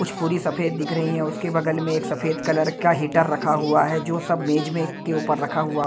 कुछ पूरी सफेद दिख रही है उसके बगल में एक सफेद कलर का हीटर रखा हुआ है जो सब मेज मे के ऊपर रखा हुआ--